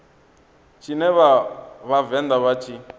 tshine vha vhavenḓa vha tshi